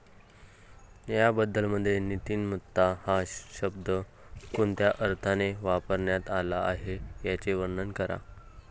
बायबलमध्ये नीतिमत्ता हा शब्द कोणत्या अर्थाने वापरण्यात आला आहे याचे वर्णन करा.